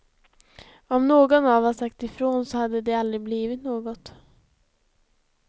Om någon av oss sagt ifrån så hade det aldrig blivit något.